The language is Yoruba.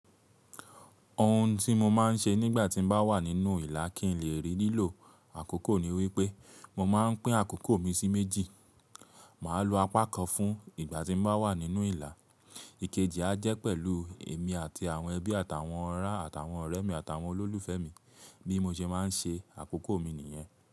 Ohun tí mo máa ń ṣe nígbà tí mo bá wà nínú ìlà kí n lè rí lílò àkókò ni wípé mo máa ń pín àkókò mi sí méjì. Màá lo apá kan fún ìgbà tí bá wà nínú ìlà. Ikeji á jẹ́ pẹ̀lú èmi àti àwọn ẹbí àtàwọn ọ̀rá àtàwọn ọ̀rẹ́ mi àtàwọn olólùfẹ́ mi bí mo ṣe máa ń ṣe àkókò mi nìyẹn.